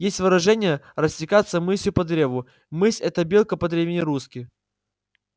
есть выражение растекаться мысью по древу мысь это белка по-древнерусски